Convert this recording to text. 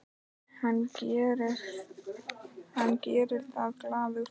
Og hann gerir það glaður.